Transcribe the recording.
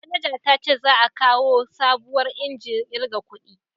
Manaja ta ce za a kawo sabuwar injin kirga kudi